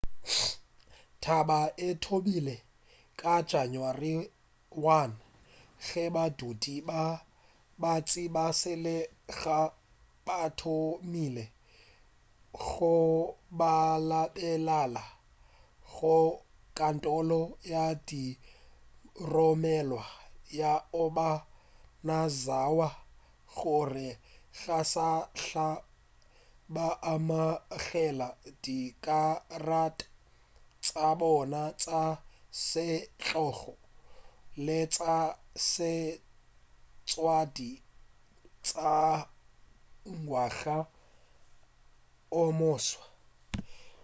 taba e thomile ka janawari 1 ge badudi ba bantši ba selegae ba thomile go balabalela go kantoro ya diromelwa ya obanazawa gore ga sahla ba amogela dikarata tša bona tša setlogo le tša setlwaedi tša ngwaga o moswa